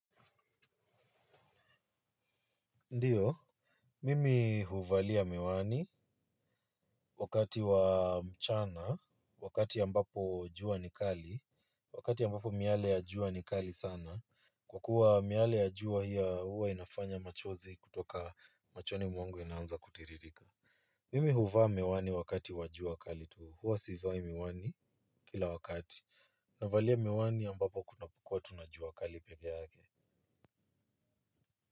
Ndiyo, mimi huvalia miwani wakati wa mchana, wakati ambapo jua ni kali, wakati ambapo miale ya jua ni kali sana, kwa kuwa miale ya jua ya huwa inafanya machozi kutoka machoni mwangu yanaanza kutiririka. Mimi huvaa miwani wakati wa jua kali tu huwa sivai miwani kila wakati. Navalia miwani ambapo kuna kuwa tu na jua kali pekee yake.